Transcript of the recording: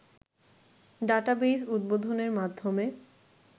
database উদ্বোধনের মাধ্যমে